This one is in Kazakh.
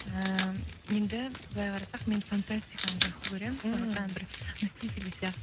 ііі енді былай қарасақ мен фантастиканы жақсы көремін ііі сондықтан бір мститель сияқты